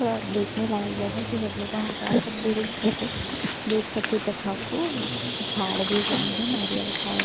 दे खाने लायक जगह की हम लीग वह जा सके रुक सके देख सके तथा को झाड़ भी उगाये है नारियल झाड़ भी --